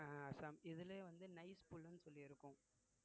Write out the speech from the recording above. அஹ் அஸ்ஸாம் இதுலயே வந்து nice புல்லுன்னு சொல்லி இருக்கும்